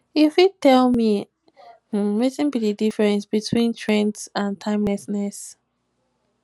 you fit tell me um wetin be di difference um between trends and timelessness